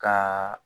Ka